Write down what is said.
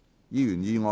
議員議案。